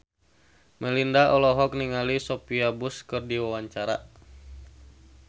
Melinda olohok ningali Sophia Bush keur diwawancara